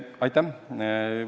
Aitäh!